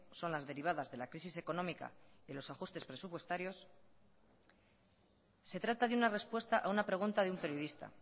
son las derivadas de la crisis económica y los ajustes presupuestarios se trata de una respuesta a una pregunta de un periodista